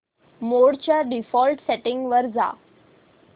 मोड च्या default settings वर जा